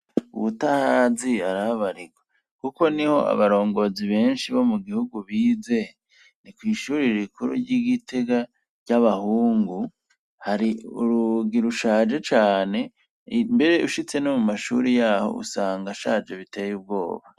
ubutahazi arahabarigwa kuko ni ho abarongozi benshi bo mu gihugu bize ni ku ishuri rikuru ry'igitega ry'abahungu hari urugi rushaje cyane mbere ushitse no mu mashuri yaho usanga ashaje biteye ubwoba